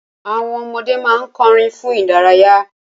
Àwọn ọmọdé ma n kọrin fun idaraya.